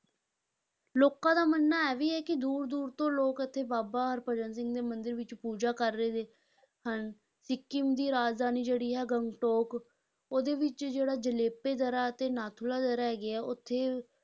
ਲੋਕਾਂ ਦਾ ਮੰਨਣਾ ਇਹ ਵੀ ਹੈ ਕਿ ਦੂਰ-ਦੂਰ ਤੋਂ ਲੋਕ ਇੱਥੇ ਬਾਬਾ ਹਰਭਜਨ ਸਿੰਘ ਦੇ ਮੰਦਿਰ ਵਿਚ ਪੂਜਾ ਕਰ ਰਹੇ ਹਨ, ਸਿੱਕਮ ਦੀ ਰਾਜਧਾਨੀ ਜਿਹੜੀ ਹੈ ਗੰਗਟੋਕ, ਉਹਦੇ ਵਿੱਚ ਜਿਹੜਾ ਜੇਲੇਪ ਦਰਾਂ ਅਤੇ ਨਾਥੂਲਾ ਦਰਾਂ ਹੈਗੀਆਂ ਉੱਥੇ